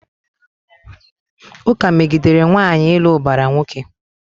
Ụka megidere nwaanyị ịlụ ụbara nwoke.